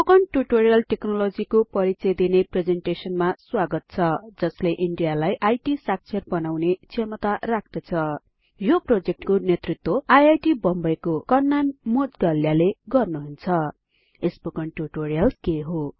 spoken tutorial टेक्नोलोजीको परिचय दिने प्रेजेन्टेसनमा स्वागत छ जसले इन्डियालाई इत साक्षर बनाउने क्षमता राख्दछ यो प्रोजेक्टको नेतृत्व आईआईटी बम्बे को कन्नन मोउद्गल्य ले गर्नुहुन्छ स्पोकन टुटोरियल के हो